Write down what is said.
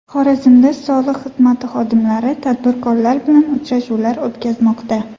Xorazmda soliq xizmati xodimlari tadbirkorlar bilan uchrashuvlar o‘tkazmoqda.